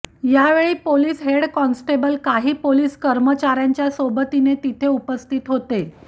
यावेळी police head constable काही police कर्मचाऱ्यांच्या सोबतीने तिथे उपस्थित होते